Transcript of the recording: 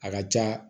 A ka ca